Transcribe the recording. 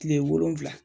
Kile wolonfila